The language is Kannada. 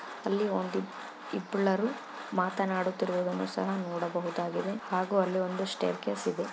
ಅಲ್ಲಿ ಒಂದು ಇಬ್ಬರು ಮಾತನಾಡುತ್ತಿರುವುದನ್ನ ಸಹ ನೋಡಬಹುದಾಗಿದೆ ಹಾಗು ಅಲ್ಲಿ ಒಂದು ಸ್ಟೇರ್ ಕೇಸ್ ಇದೆ.